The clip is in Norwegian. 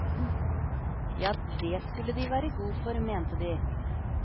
Jo, det skulle de være god for, mente de.